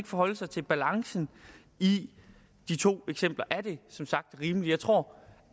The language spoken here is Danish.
forholde sig til balancen i de to eksempler er det som sagt rimeligt jeg tror